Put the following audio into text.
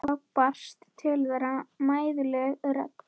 Þá barst til þeirra mæðuleg rödd